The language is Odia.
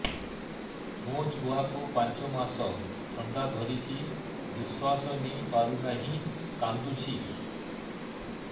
ମୋ ଛୁଆକୁ ପାଞ୍ଚ ମାସ ଥଣ୍ଡା ଧରିଛି ନିଶ୍ୱାସ ନେଇ ପାରୁ ନାହିଁ କାଂଦୁଛି